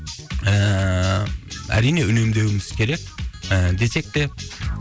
ііі әрине үнемдеуіміз керек і десек те